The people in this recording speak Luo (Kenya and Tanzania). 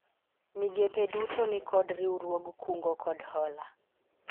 migepe duto nikod riwruog kungo kod hola